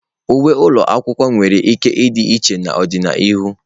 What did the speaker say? Uwe ụlọ akwụkwọ nwere ike ịdị iche n'ọdịnihu.